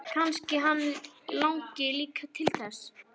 Kannski hann langi líka til þess!